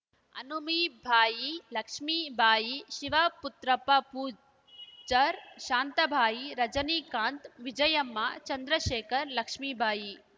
Hanumibai Lakshmibai Shivaputrappa Pujar Shantabai Rajinikanth Vijayamma Chandrashekhar Lakshmibai